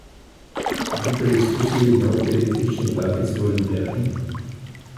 Bi preizkusili nov električni vlakec v Ljubljani?